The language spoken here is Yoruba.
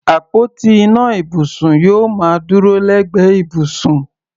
Àpótí ìná ibùsùn yóò máa dúró lẹ́gbẹ̀ẹ́ ibùsùn.